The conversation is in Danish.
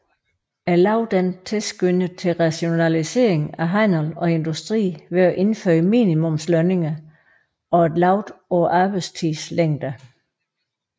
Loven tilskyndede til rationalisering af handel og industri ved at indføre minimumslønninger og et loft på arbejdstidens længde